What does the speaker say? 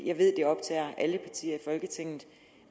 jeg ved det optager alle partier i folketinget